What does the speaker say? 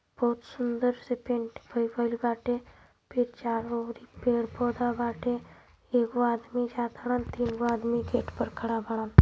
बहुत सुंदर से पेंट (paint) बाटे फिर चारो ओर इ पेड़ पोधा बाटे एगो आदमी गेट पर खड़ा बारन।